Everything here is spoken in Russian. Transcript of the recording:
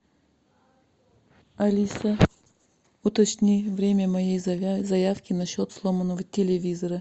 алиса уточни время моей заявки на счет сломанного телевизора